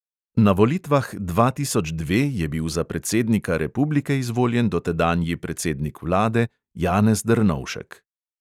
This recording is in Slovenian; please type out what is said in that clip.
Na volitvah dva tisoč dve je bil za predsednika republike izvoljen dotedanji predsednik vlade janez drnovšek.